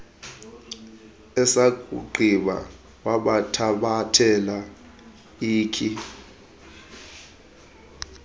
esakugqiba wabathathela ikhi